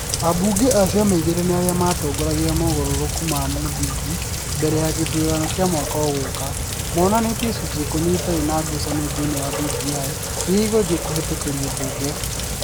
Ambunge a ciama igĩrĩ nĩ arĩa matongoragia mogarũrũku ma mũthingi. Mbere ya gĩthurano kĩa mwaka ũgũũka. Monanĩtie icunjĩ ikũmi itarĩ na ngucanio thĩinĩ wa BBI iria igũthiĩ kũhetokerio mbunge.